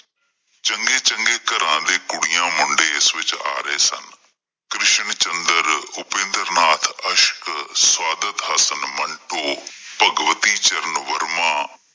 ਚੰਗੇ-ਚੰਗੇ ਘਰਾਂ ਦੇ ਕੁੜੀਆਂ, ਮੁੰਡੇ ਇਸ ਵਿੱਚ ਆ ਰਹੇ ਸਨ। ਕ੍ਰਿਸ਼ਨ ਚੰਦਰ, ਉਪਿੰਦਰ ਨਾਥ ਅਸ਼ਕ, ਸਾਦਿਦ ਹਸਨ ਮੰਟੂ, ਭਗਵਤੀ ਚਰਨ ਵਰਮਾ।